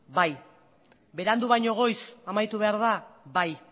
bai berandu baino goiz amaitu behar da bai